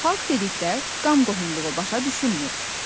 Xalq dedikdə qan qohumluğu başa düşülmür.